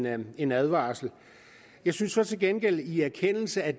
at give en advarsel jeg synes så til gengæld i erkendelse af